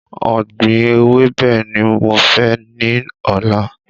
Ògbìn ewébẹ̀ ni mo fẹ́ ní ọ̀la